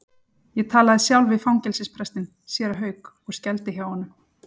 Ég talaði sjálf við fangelsisprestinn, séra Hauk, og skældi hjá honum.